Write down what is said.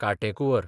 कांटेकुंवर